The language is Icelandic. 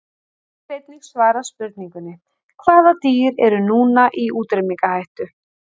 Hér er einnig svarað spurningunni: Hvaða dýr eru núna í útrýmingarhættu?